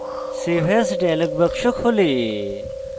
save as dialog box খোলে